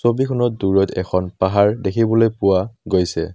ছবিখনত দূৰৈত এখন পাহাৰ দেখিবলৈ পোৱা গৈছে।